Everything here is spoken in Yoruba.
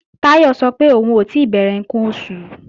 Táyọ̀ sọ pé òun ò tí bẹ̀rẹ̀ ǹkan oṣù